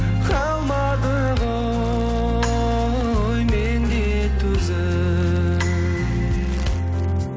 қалмады ғой менде төзім